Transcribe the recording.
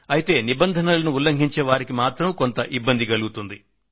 అయితే నిబంధనలను ఉల్లంఘించే వారికి మాత్రం కొంత ఇబ్బంది కలుగుతుంది